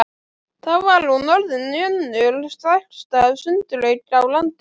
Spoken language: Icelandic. Þá var hún orðin önnur stærsta sundlaug á landinu.